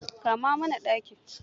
Kama mana ɗaki.